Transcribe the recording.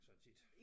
Sådan set